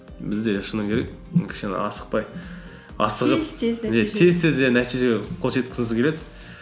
бізде шыны керек кішкене асықпай асығып тез тез иә нәтижеге қол жеткізгісі келеді